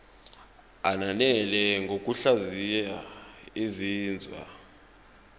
ananele ngokuhlaziya izinzwa